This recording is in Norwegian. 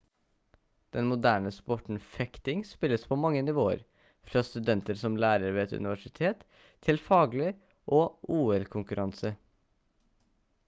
den moderne sporten fekting spilles på mange nivåer fra studenter som lærer ved et universitet til faglig og ol-konkurranse